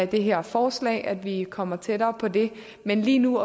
det her forslag at vi kommer tættere på det men lige nu